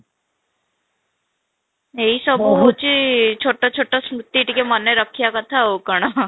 ଏଇ ସବୁ ହେଉଛି ଛୋଟ ଛୋଟ ସ୍ମୃତି ଟିକେ ମାନେ ରଖିବା କଥା ଆଉ କ'ଣ